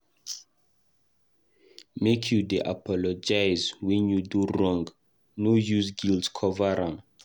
Make you dey apologize wen you do wrong no use guilt cover am.